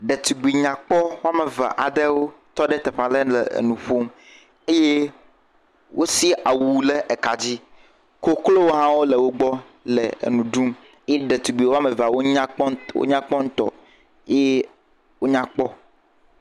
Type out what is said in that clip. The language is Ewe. Ɖetugbui nyakpɔ eve aɖewo tɔ ɖe teƒe aɖe le nu ƒom eye wosɛ̃a awu ɖe ka dzi. Koklo hã wole wo gbɔ le nu ɖum. Ɖetugbi woame eve nyakpɔ ŋutɔ eye wonya kpɔ.